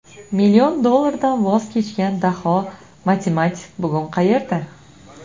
Million dollardan voz kechgan daho matematik bugun qayerda?